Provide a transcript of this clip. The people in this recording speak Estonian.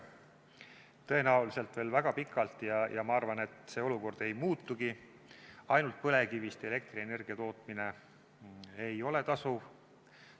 Tõenäoliselt veel väga pikalt – ma arvan, et see olukord ei muutugi – ainult põlevkivist elektrienergia tootmine ei ole tasuv.